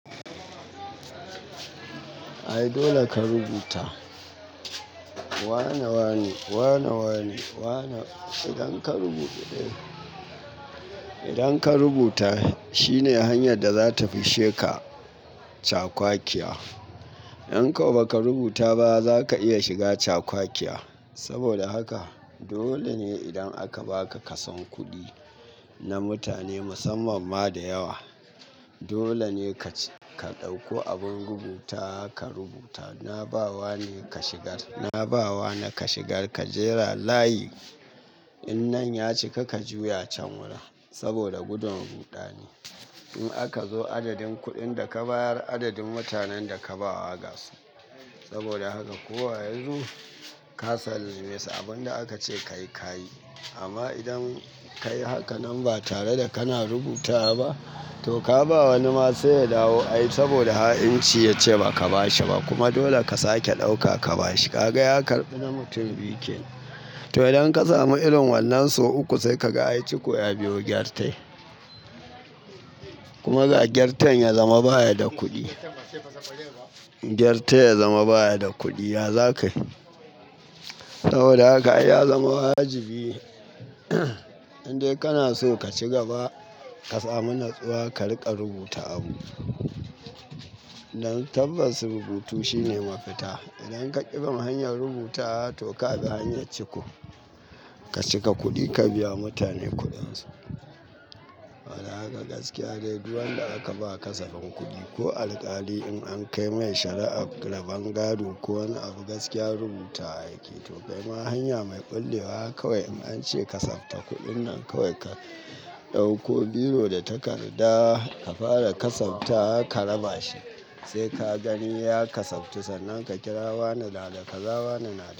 Ai dole ka rubuta. Wane, wane, wane, wane. Idan ka rubuta, idan ka rubuta shine hanyar da za ta fishe ka cakwakiya. In ko ba ka rubuta ba, ba za ka iya shiga cakwakiya. Saboda haka dole ne idan aka ba ka kasan kuɗi na mutane musamman ma da yawa. Dole ne ka ɗauko abin rubuta ka rubuta. Na ba wa ne ka shigar. Na ba wa ne ka shigar. Ka jera layi. In nan ya cika, ka juya can wurin saboda gudun ruɗani. In aka zo adadin kuɗin da ka bayar, adadin mutanen da ka ba wa gasu. Saboda haka kowa ya zo ya kasance abin da aka ce ka yi, ka yi. Amma idan ka yi hakan nan ba tare da kana rubutawa ba, to ka ba wani ma sai ya dawo ai saboda ha'inci ya ce ba ka ba shi ba kuma dole ka sake ɗauka ka ba shi. Kaga ya karɓi na mutum biyu kenan. To idan ka samu irin wannan sau uku sai ka ga ai ciko ya biyo gyartai. Kuma ga gyartan ya zama baya da kuɗi. Gyartai ya zama baya da kuɗi, ya za ka yi? Saboda haka ai ya zama wajibi indai kana so ka ci gaba, ka samu natsuwa ka riƙa rubuta abu. Dan tabbas rubutu shine mafita. Idan ka ƙi bin hanyar rubutawa, to ka bi hanyar ciko. Ka cika kuɗi ka biya mutane kuɗinsu. Saboda haka gaskiya dai duwun da aka ba kasafin kuɗi ko alƙali in an kai mai shari'a raban gado ko wani abu gaskiya rubutawa yake. To kai ma hanya mai ƙullewa kawai an ce kasafta kuɗin nan kawai ka ɗauko biro da takarda ka fara kasafta wa ka raba shi. Sai ka gani ya kasabtu sannan ka kira wane nada kaza wane nada.